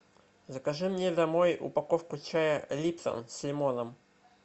закажи мне домой упаковку чая липтон с лимоном